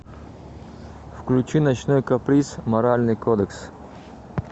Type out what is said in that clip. включи ночной каприз моральный кодекс